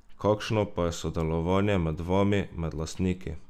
Kakšno pa je sodelovanje med vami, med lastniki?